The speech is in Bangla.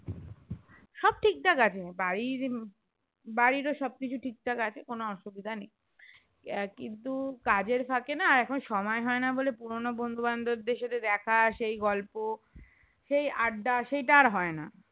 ঠিক ঠাক আছে বাড়ির বাড়ির ও সব কিছু ঠিক থাকে আছে কোনো অসুবিধা নেই আহ কিন্তু কাজের ফাঁকে না এখন সময় হয় না বলে পুরোনো বন্ধু বান্ধবদের সাথে দেখা সেই গল্প সেই আড্ডা সেইটা আর হয় না